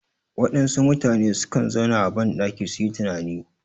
Waɗansu mutane sukan zauna a ban ɗaki suyi tunani